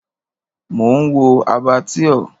Mò ń wo Abattoir.